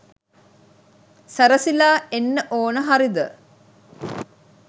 සැරසිලා එන්න ඕන හරිද?